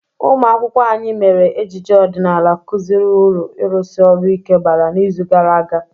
Umụ akwụkwọ anyị mere ejije ọdịnala kụziri uru ịrụsi orụ ike bara n'izu gara aga.